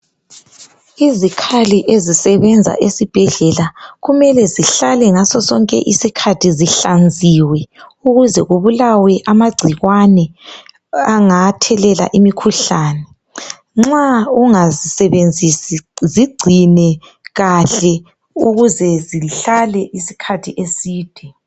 Izikhali ezisebenza esibhedlela kumele zihlale ngaso sonke isikhathi zihlanziwe ukuze kubulawe amagcikwane angathelela imikhuhlane. Nxa ungazisebenzisi zigcine kahle ukuze zihlale isikhathi eside.